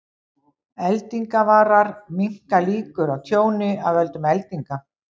Eldingavarar minnka líkur á tjóni af völdum eldinga.